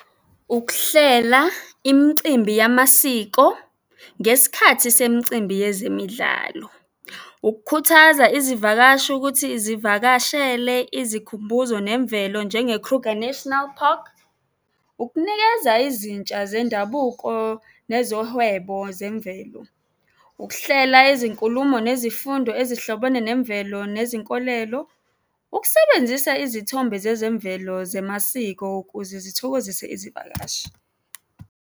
Ukuhlela imicimbi yamasiko ngesikhathi semicimbi yezemidlalo. Ukukhuthaza izivakashi ukuthi zivakashele izikhumbuzo nemvelo njenge-Kruger National Park. Ukunikeza izintsha zendabuko nezohwebo zemvelo. Ukuhlela izinkulumo nezifundo ezihlobene nemvelo nezinkolelo. Ukusebenzisa izithombe zezemvelo zemasiko ukuze zithokozise izivakashi.